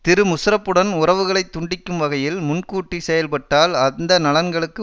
திரு முஷரப்புடன் உறவுகளை துண்டிக்கும் வகையில் முன்கூட்டி செயல்பட்டால் அந்த நலன்களுக்கு